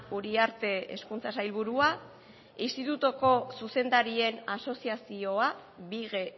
uriarte hezkuntza sailburua institutuko zuzendarien asoziazioa bige